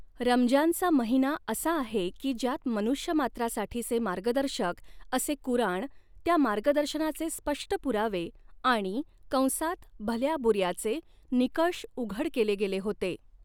रमजानचा महिना असा आहे की ज्यात, मनुष्यमात्रासाठीचे मार्गदर्शक असे कुराण, त्या मार्गदर्शनाचे स्पष्ट पुरावे आणि कंसात भल्याबुऱ्याचे निकष उघड केले गेले होते.